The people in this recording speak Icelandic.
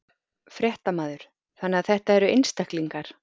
Fréttamaður: Þannig að þetta eru einstaklingar?